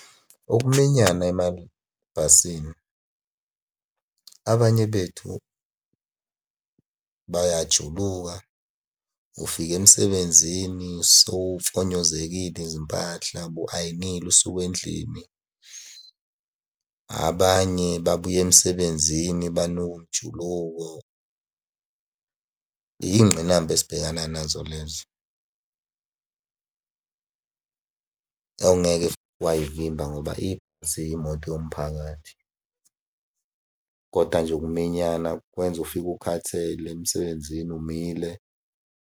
Ukuminyana emabhasini abanye bethu bayajuluka, ufika emsebenzini sewumfonyozekile izimpahla ubu-ayinile usuka endlini. Abanye babuya emsebenzini banuka umjuluko. Iy'ngqinamba esibhekana nazo lezo ongeke futhi way'vimba ngoba ziyimoto yomphakathi Koda nje ukuminyana kwenza ufike ukhathele emsebenzini umile.